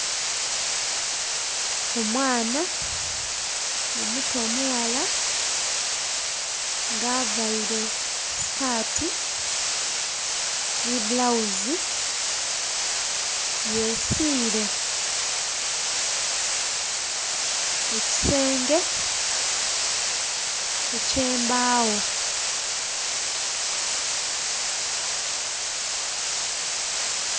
Omwana omuto omughala nga availe sikaati nhi bbulawuzi, yesiile ku kisenge eky'embaawo.